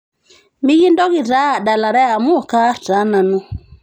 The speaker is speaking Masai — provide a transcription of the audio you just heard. mekintoki taa adalare amuu kaarr taa nanu